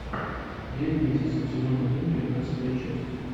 девять месяцев сезон один тринадцатая часть